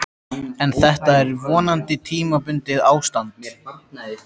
En þetta er vonandi tímabundið ástand.